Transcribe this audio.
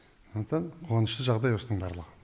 сондықтан қуанышты жағдай осының барлығы